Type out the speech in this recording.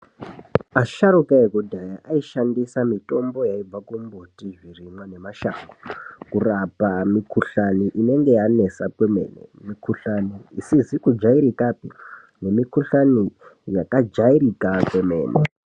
Asharuka ekudhaya aishandisa mitombo yaibva kumbuti, zvirimwa, nemashango, kurapa mikhuhlani inenge yanesa kwemene, mikhuhlani isizi kujairikapi , nemikhuhlani yakajairika kwemene.